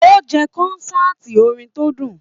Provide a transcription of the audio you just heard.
O jẹ kọ́nsàtii orin tó dùn.